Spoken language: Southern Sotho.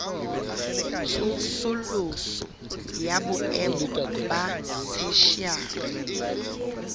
tsosoloso ya boemo ba theshiari